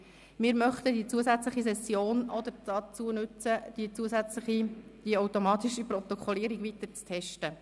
Wir möchten die zusätzliche Session auch dazu nutzen, die automatische Protokollierung weiter zu testen.